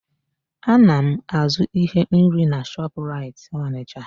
Ana m azụ íhé nri na Shọpraịt Ọnịsha.